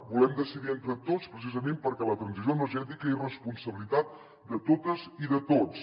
volem decidir entre tots precisament perquè la transició energètica és responsabilitat de totes i de tots